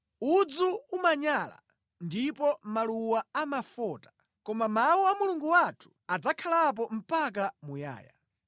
Udzu umanyala ndipo maluwa amafota, koma mawu a Mulungu wathu adzakhalapo mpaka muyaya.”